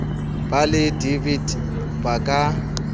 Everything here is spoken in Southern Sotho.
ba le dvt ba ka